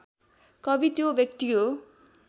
कवि त्यो व्यक्ति हो